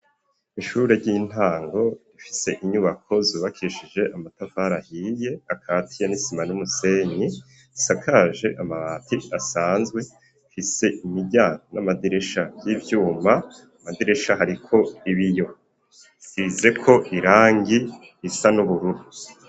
Mw'iishure ry'intango rifise inyubako zubakishije amatafari ahiye akatiye n'isima n'umusenyi, isakaje amabati asanzwe, ifise imiryango n'amadirisha vy'ivyuma, ku amadirisha hariko ibiyo bisizeko irangi risa n'ubururu.